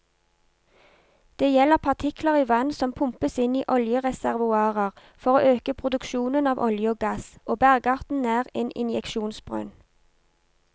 Det gjelder partikler i vann som pumpes inn i oljereservoarer for å øke produksjonen av olje og gass, og bergarten nær en injeksjonsbrønn.